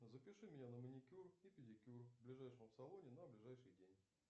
запиши меня на маникюр и педикюр в ближайшем салоне на ближайший день